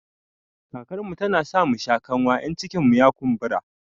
Karkarmu tana sa musha kanwa in cikinmu ya kumbura